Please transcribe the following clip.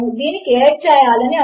కనుక దీనిని ప్రయత్నించి చూద్దాము